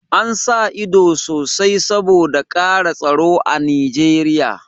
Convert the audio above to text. An sa ido sosai saboda ƙara tsaro a Nijeriya